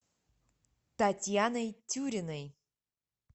татьяной тюриной